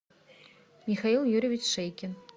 михаил юрьевич шейкин